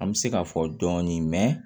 An bɛ se k'a fɔ dɔɔnin mɛ